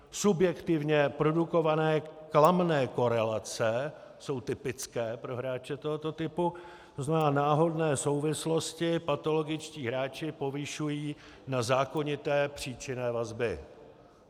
subjektivně produkované klamné korelace jsou typické pro hráče tohoto typu, to znamená náhodné souvislosti patologičtí hráči povyšují na zákonité příčinné vazby.